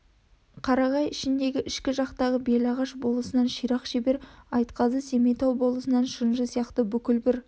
қарағай ішіндегі ішкі жақтағы белағаш болысынан ширақ шебер айтқазы семейтау болысынан шынжы сияқты бүкіл бір